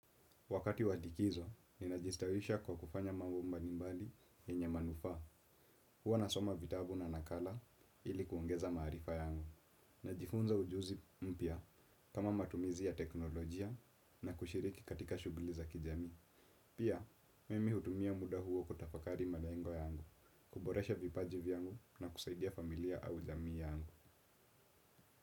Wakati wa tikizo, ni najistawisha kwa kufanya mambo mbalimbali yenye manufaa. Huwa nasoma vitabu na nakala ili kuongeza marifa yangu. Najifunza ujuzi mpya kama matumizi ya teknolojia na kushiriki katika shugli za kijamii pia. Mimi hutumia muda huo kutafakari malengo yangu kuboresha vipaji yangu na kusaidia familia au jamii yangu.